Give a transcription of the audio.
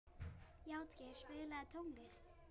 Játgeir, spilaðu tónlist.